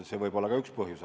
See võib olla ka üks põhjus.